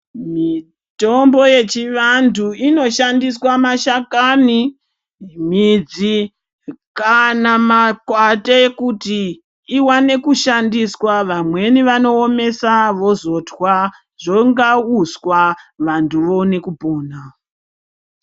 Mitombo yechivantu inoshandiswa mashakani, midzi kana makwande kuti iwane kushandiswa. Vamweni vanoomesa vozotwa, zvonga uswa vantu voona kupona.